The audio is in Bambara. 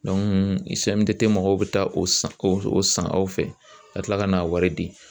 mɔgɔw bɛ taa o san o san aw fɛ ka tila ka n'a wari di